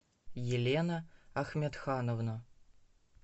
елена ахмедхановна